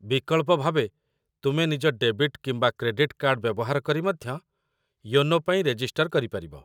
ବିକଳ୍ପ ଭାବେ, ତୁମେ ନିଜ ଡେବିଟ୍ କିମ୍ବା କ୍ରେଡିଟ୍‌ କାର୍ଡ ବ୍ୟବହାର କରି ମଧ୍ୟ ୟୋନୋ ପାଇଁ ରେଜିଷ୍ଟର କରିପାରିବ